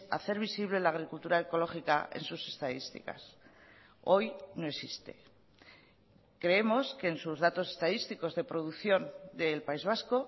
hacer visible la agricultura ecológica en sus estadísticas hoy no existe creemos que en sus datos estadísticos de producción del país vasco